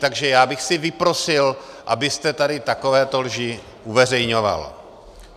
Takže já bych si vyprosil, abyste tady takovéto lži uveřejňoval.